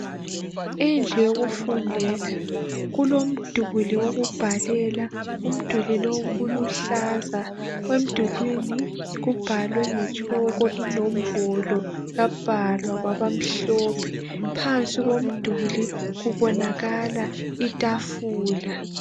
Indlu yokufundela. Kulomduli wokubhalela. Umduli lo uluhlaza, emdulwini kubhalwe ngetshoko. Inombolo zabhalwa kwabamhlophe. Phansi komduli kubonakala itafula.